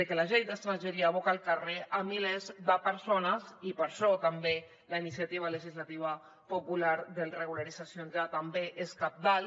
que la llei d’estrangeria aboca al carrer milers de persones i per això també la iniciativa legislativa popular de regularització també és cabdal